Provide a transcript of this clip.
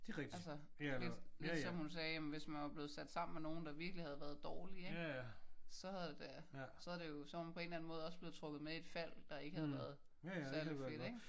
Altså lidt lidt som hun sagde jamen hvis man var blevet sat sammen med nogen der virkelig havde været dårlige ik? Så havde det så havde det jo så havde man på en måde været trukket med i et fald der ikke havde været særligt fedt ik?